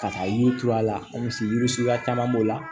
Ka taa yiri turu a la misi yiri yiri suguya caman b'o la